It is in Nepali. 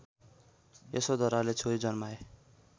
यशोधराले छोरी जन्माए